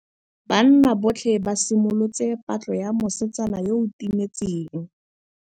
Banna botlhê ba simolotse patlô ya mosetsana yo o timetseng.